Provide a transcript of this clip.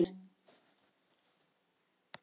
Kemur hann heim til ykkar?